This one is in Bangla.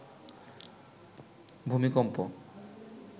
ভূমিকম্প